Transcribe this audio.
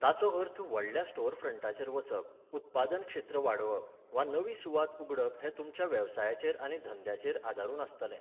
ताचो अर्थ व्हडल्या स्टोरफ्रंटाचेर वचप, उत्पादन क्षेत्र वाडोवप, वा नवी सुवात उगडप हें तुमच्या वेवसायाचेर आनी ध्येयांचेर आदारून आसतलें.